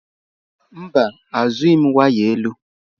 Mba zụghị m waya elu.